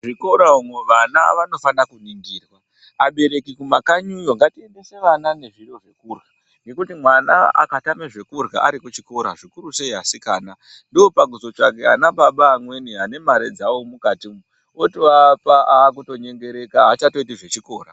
Zvikora muvana vanofanira kuningirwa abereki kumakanyi yo ngatiendese vana nezviro zvekurya nekuti mwana akatame zvekurya ari kuchikora zvikuru sei asikana ndopakuzotsvake ana baba amweni ane mare dzawo mukati umu otoapa akutonyengereka aachatoiti zvechikora.